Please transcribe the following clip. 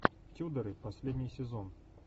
тюдоры последний сезон